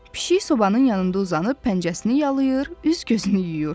Pişik sobanın yanında uzanıb pəncəsini yalayır, üz-gözünü yuyur.